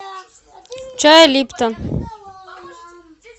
чай липтон